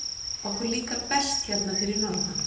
Okkur líkar best hérna fyrir norðan.